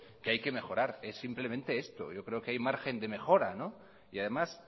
que hay que mejorar es simplemente esto yo creo que hay margen de mejora y además